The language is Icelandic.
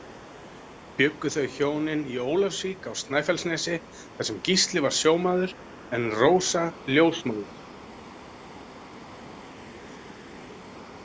Bjuggu þau hjónin í Ólafsvík á Snæfellsnesi þar sem Gísli var sjómaður en Rósa ljósmóðir.